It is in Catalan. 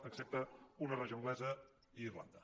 excepte una regió anglesa i irlanda